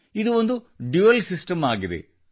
ಇದು ಒಂದು dual system ಆಗಿದೆ